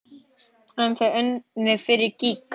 En þeir unnu fyrir gýg.